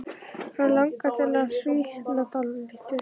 Hann langar til að svitna dálítið.